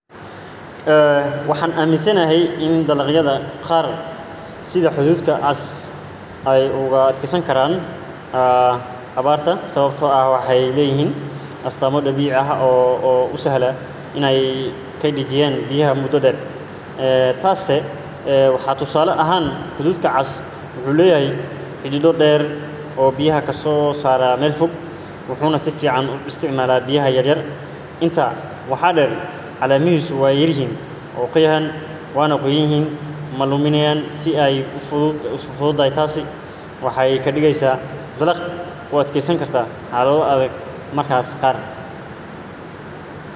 waxan aminsanahay in dagalayada qar sida hadhuudhka cas eey u adekesan karan abarta. sawbto wexey leyihin astamo dabici ah o u sahlo iney keydiyan biyaha mudo dher. tas waxa tusale ahan hadhuudhka cas wuxu leyahay xidido dher o biyaha kaso saro mel fog, waxana biyaha u isticmala si yaryar. tasi waxa dher calemahisu wey yaryar yihin wana qoyan yihin maluminayana si fudut biyaha, tasi waxey ka dhigesa iney u adkestan xalado adag mararka qar.